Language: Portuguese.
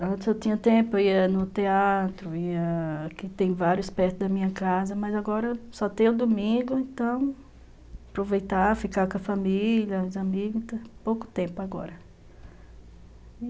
Antes eu tinha tempo, ia no teatro, ia... aqui tem vários perto da minha casa, mas agora só tem o domingo, então aproveitar, ficar com a família, os amigos, pouco tempo agora.